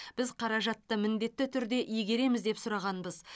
біз қаражатты міндетті түрде игереміз деп сұрағанбыз